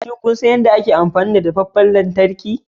Shin kun san yadda ake amfani da dafaffen lantarki?